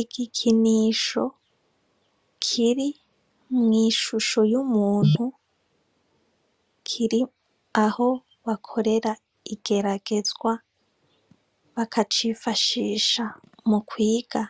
Igikinisho kiri mw'ishusho y'umuntu kiri aho bakorera igeragezwa bakacifashisha mu kwiga